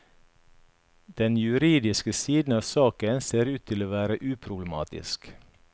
Den juridiske siden av saken ser ut til å være uproblematisk.